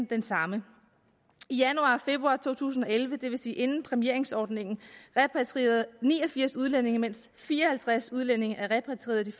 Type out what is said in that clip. den samme i januar og februar to tusind og elleve det vil sige inden præmieringsordningen repatrierede ni og firs udlændinge mens fire og halvtreds udlændinge er repatrieret i de